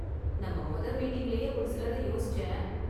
நம்ம மொத மீட்டிங்லயே ஒரு சிலரை யோசிச்சேன்.